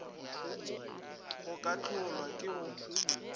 go ka hlolwa ke go